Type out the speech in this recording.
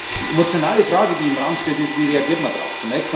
Die emotionale Frage, die im Raum steht, ist Wie reagiert man darauf?